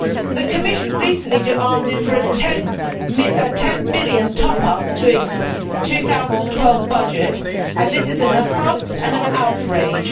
The Commission recently demanded a 10 billion top up to its 2012 budget and this is an affront and an outrage.